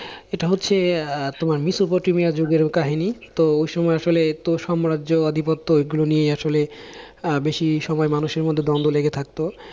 এটা হচ্ছে আহ তোমার মেসোপটেমিয়া যুগের কাহিনী, তো ঐসময় আসলে তো সাম্রাজ্য আধিপত্য ঐগুলো নিয়েই আসলে আহ বেশি সময় মানুষের মধ্যে দ্বন্দ্ব লেগে থাকতো।